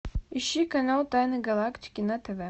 ищи канал тайны галактики на тв